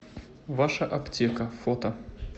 ваша аптека фото